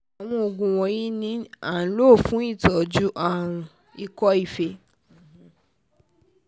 àwọn oògùn wọ̀nyí ni wọ́n ń lò fún ìtọ́jú àrùn ikọ́ fée